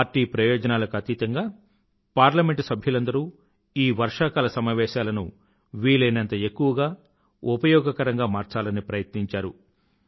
party ప్రయోజనాలకు అతీతంగా parliament సభ్యులందరూ ఈ వర్షాకాల సమావేశాలను వీలయినంత ఎక్కువగా ఉపయోగకరంగా మార్చాలని ప్రయత్నించారు